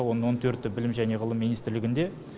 оның он төрті білім және ғылым министрлігінде